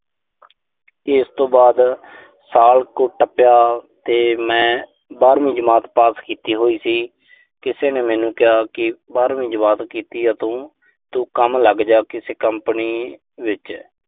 ਇਸ ਤੋਂ ਬਾਅਦ ਸਾਲ ਕੁ ਟੱਪਿਆ ਤੇ ਮੈਂ ਬਾਰਵੀਂ ਜਮਾਤ ਪਾਸ ਕੀਤੀ ਹੋਈ ਸੀ। ਕਿਸੇ ਨੇ ਮੈਨੂੰ ਕਿਹਾ ਕਿ ਬਾਰਵੀਂ ਜਮਾਤ ਕੀਤੀ ਆ ਤੂੰ। ਤੂੰ ਕੰਮ ਲੱਗ ਜਾ, ਕਿਸੇ ਕੰਪਨੀ ਵਿੱਚ।